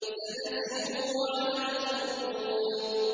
سَنَسِمُهُ عَلَى الْخُرْطُومِ